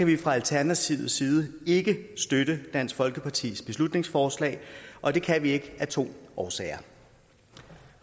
vi fra alternativets side ikke støtte dansk folkepartis beslutningsforslag og det kan vi ikke af to årsager